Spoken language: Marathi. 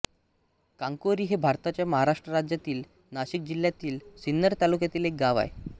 कांकोरी हे भारताच्या महाराष्ट्र राज्यातील नाशिक जिल्ह्यातील सिन्नर तालुक्यातील एक गाव आहे